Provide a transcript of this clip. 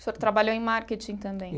O senhor trabalhou em marketing também?